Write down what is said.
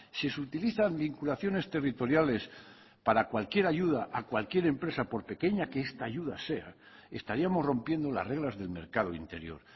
si se utilizan vinculaciones territoriales para cualquier ayuda a cualquier empresa por pequeña que está ayuda sea estaríamos rompiendo las reglas del mercado interior